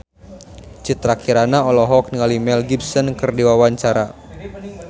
Citra Kirana olohok ningali Mel Gibson keur diwawancara